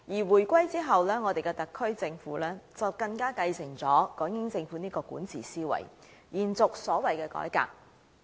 回歸後，我們的特區政府繼承了港英政府的管治思維，延續所謂的改革。